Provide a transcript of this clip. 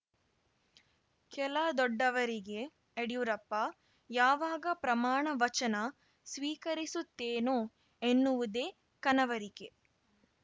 ಕೆಲ ದೊಡ್ಡವರಿಗೆ ಯಡಿಯೂರಪ್ಪ ಯಾವಾಗ ಪ್ರಮಾಣ ವಚನ ಸ್ವೀಕರಿಸುತ್ತೇನೋ ಎನ್ನುವುದೇ ಕನವರಿಕೆ